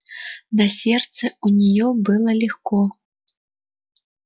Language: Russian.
на сердце у неё было легко